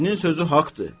Kişinin sözü haqqdır.